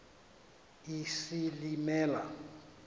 isilimela